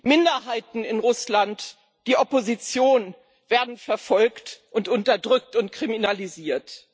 Minderheiten in Russland, die Opposition werden verfolgt, unterdrückt und kriminalisiert.